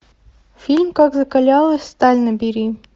фильм как закалялась сталь набери